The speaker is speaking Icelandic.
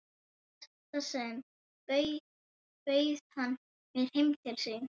Í þetta sinn bauð hann mér heim til sín.